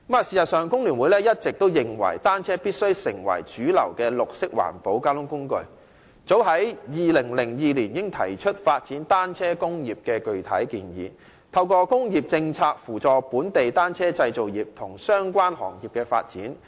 事實上，工聯會一直認為單車必須成為主流的綠色環保交通工具，早於2002年，我們已提出發展單車工業的具體建議，透過工業政策，扶助本地單車製造業及相關行業的發展。